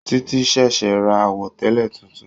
Títí ṣẹ̀ṣẹ̀ ra àwọ̀tẹlẹ tuntun.